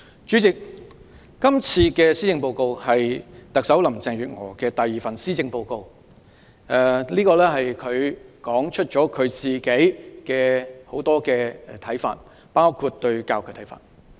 主席，今次的施政報告是特首林鄭月娥的第二份施政報告，當中提出了很多她的看法，包括她對教育的看法。